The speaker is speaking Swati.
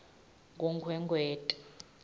kunkhwekhweti